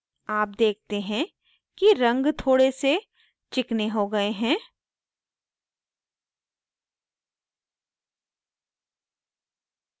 आप देखते हैं कि रंग थोड़े से चिकने हो गए हैं